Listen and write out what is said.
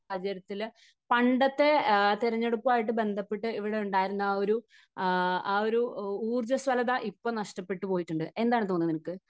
സാഹചര്യത്തിൽ പണ്ടത്തെ തെരഞ്ഞെടുപ്പുമായി ബന്ധപ്പെട്ട ഇവിടെയുണ്ടായിരുന്ന ആ ഒരു ആ ഒരു ഊർജ്ജസ്വലത ഇപ്പോൾ നഷ്ടപ്പെട്ടു പോയിട്ടുണ്ട്. എന്താണ് തോന്നുന്നത് നിനക്ക്?